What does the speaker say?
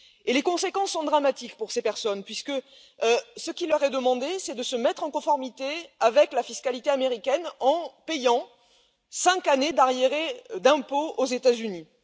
Les conséquences sont dramatiques pour ces personnes puisque ce qui leur est demandé, c'est de se mettre en conformité avec la fiscalité américaine en payant cinq années d'arriérés d'impôts aux États Unis.